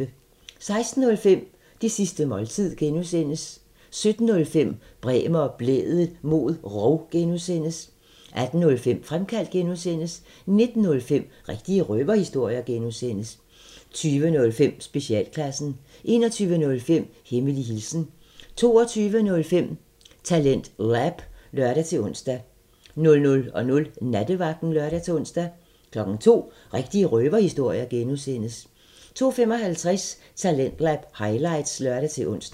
16:05: Det sidste måltid (G) 17:05: Bremer og Blædel mod rov (G) 18:05: Fremkaldt (G) 19:05: Rigtige røverhistorier (G) 20:05: Specialklassen 21:05: Hemmelig hilsen 22:05: TalentLab (lør-ons) 00:00: Nattevagten (lør-ons) 02:00: Rigtige røverhistorier (G) 02:55: Talentlab highlights (lør-ons)